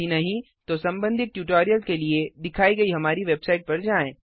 यदि नहीं तो संबंधित ट्यूटोरियल के लिए दिखाई गई हमारी वेबसाइट पर जाएँ